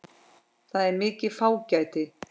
Það er mikið fágæti.